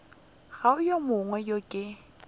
go yo mongwe yo ke